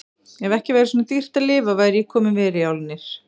Ef ekki væri svona dýrt að lifa væri ég kominn vel í álnir.